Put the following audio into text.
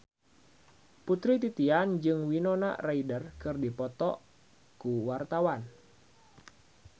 Putri Titian jeung Winona Ryder keur dipoto ku wartawan